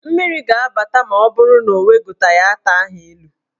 Mmiri ga-abata ma ọ bụrụ na ị wegoteghi ata ahụ elu.